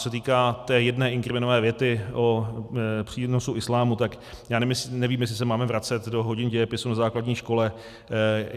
Co se týká té jedné inkriminované věty o přínosu islámu, tak já nevím, jestli se máme vracet do hodin dějepisu na základní škole.